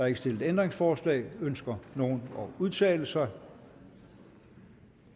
ikke stillet ændringsforslag ønsker nogen at udtale sig